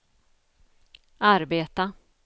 arbeta